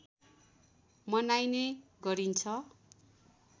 मनाइने गरिन्छ